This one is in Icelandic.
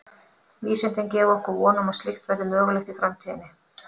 Vísindin gefa okkur von um að slíkt verði mögulegt í framtíðinni.